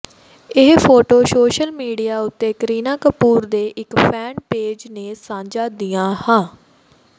ਇਹ photo social media ਉੱਤੇ ਕਰੀਨਾ ਕਪੂਰ ਦੇ ਇੱਕ ਫੈਨ ਪੇਜ ਨੇ ਸਾਂਝਾ ਦੀਆਂ ਹਾਂ